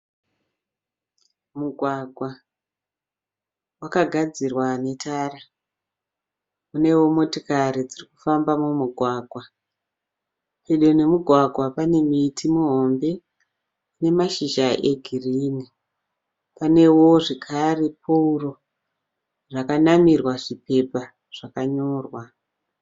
Mugwagwa wakagadzirira netara, unewo motokari dziri kufamba mumugwagwa. Pedo nemugwagwa pane miti mihombe ine mashizha egirini. Panewo zvakare pooro rakanamirwa zvipepa zvakanyorwa.